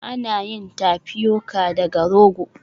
Ana yin Tapioca daga rogo